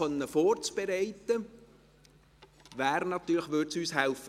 Um dies vorbereiten zu können, würde uns eine Rückweisung helfen.